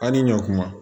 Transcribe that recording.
Aw ni ɲɔkuma